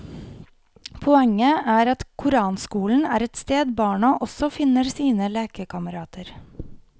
Poenget er at koranskolen er et sted barna også finner sine lekekamerater.